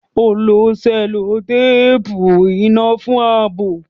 Ó lo sẹ́lótéèpù iná fún ààbò